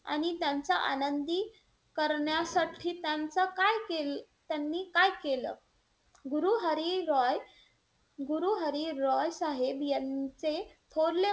आणि त्यांचा आनंदी करण्यासाठी त्यांचा काय त्यांनी काय केलं? गुरु हरी रॉय गुरु हरी रॉय साहेब यांचे थोरले,